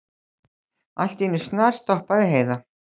Allt í einu snarstoppaði Heiða.